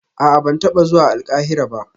A'a ban taba zuwa Alkahira ba